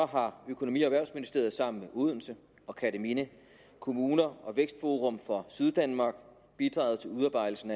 har økonomi og erhvervsministeriet sammen med odense og kerteminde kommuner og vækstforum for syddanmark bidraget til udarbejdelsen